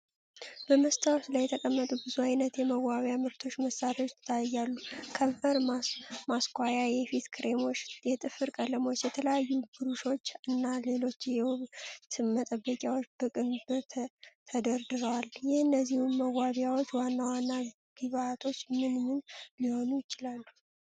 በመስታወት ላይ የተቀመጡ ብዙ አይነት የመዋቢያ ምርቶችና መሳሪያዎች ይታያሉ። ከንፈር ማስኳያ፣ የፊት ክሬሞች፣ የጥፍር ቀለሞች፣ የተለያዩ ብሩሾች፣ እና ሌሎች የውበት መጠበቂያዎች በቅንብር ተደርድረዋል። የእነዚህ መዋቢያዎች ዋና ዋና ግብዓቶች ምን ምን ሊሆኑ ይችላሉ?